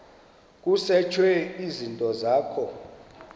kusetshwe izinto zakho